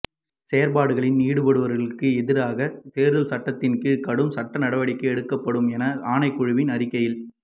செயற்பாடுகளில் ஈடுபடுபவர்களுக்கு எதிராகத் தேர்தல் சட்டத்தின் கீழ் கடும் சட்ட நடவடிக்கை எடுக்கப்படும் என ஆணைக்குழுவின் அறிக்கையில்